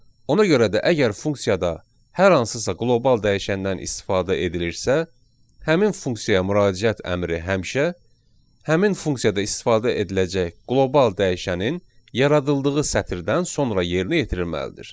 Ona görə də əgər funksiyada hər hansısa qlobal dəyişəndən istifadə edilirsə, həmin funksiyaya müraciət əmri həmişə həmin funksiyada istifadə ediləcək qlobal dəyişənin yaradıldığı sətirdən sonra yerinə yetirilməlidir.